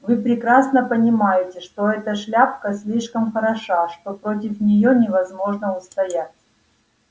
вы прекрасно понимаете что эта шляпка слишком хороша что против неё невозможно устоять